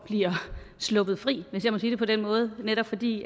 bliver sluppet fri hvis jeg må sige det på den måde netop fordi